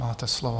Máte slovo.